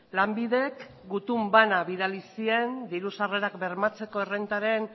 lanbidek gutun bana bidali zien diru sarrerak bermatzeko errentaren